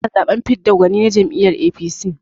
Ana zaɓen fidda gwani na jam'iyyar APC.